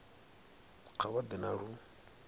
kha vha ḓe na lu